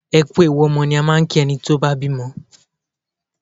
Ẹ kú ewu ọmọ ni a máa ń kí ẹni tó bá bímọ.